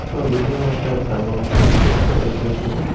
ছবিটির মধ্যে একটা লোক দেখতে পাইতাসি।